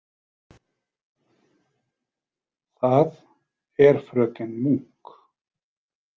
Það er fröken Munk.